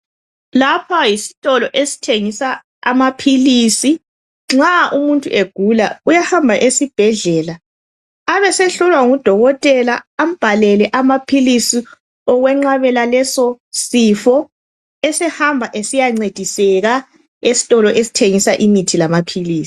Lapha yisitolo esithengisa amaphilisi nxa umuntu egula uyahamba esibhedlela abesehlolwa ngudokotela ambhalele amaphilisi okwenqabela leso sifo esehamba esiyancediseka esitolo esithengisa imithi lamaphilisi.